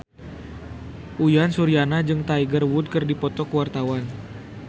Uyan Suryana jeung Tiger Wood keur dipoto ku wartawan